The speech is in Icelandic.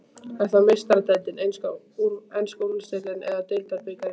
Er það Meistaradeildin, enska úrvalsdeildin eða deildarbikarinn?